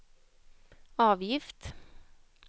avgift